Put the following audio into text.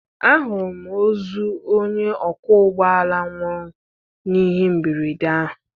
Ahụrụ m ozu onye ọkwọ ụgbọ ala nwụrụ n'ihe mberede ahụ.